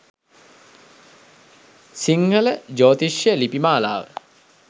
සිංහල ජ්‍යොතිෂ ලිපි මාලාව